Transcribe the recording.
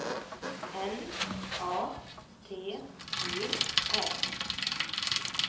N A T U R